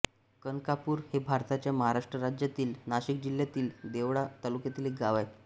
कनकापूर हे भारताच्या महाराष्ट्र राज्यातील नाशिक जिल्ह्यातील देवळा तालुक्यातील एक गाव आहे